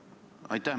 Aitäh!